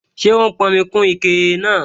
Ṣé ó n pọnmi kún ike náà?